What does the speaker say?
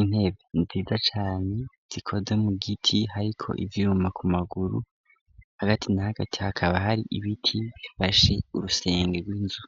intebe nziza cane zikoze mu giti hariko ivyuma ku maguru hagati na hagati hakaba hari ibiti bifashe urusenge rw'inzu.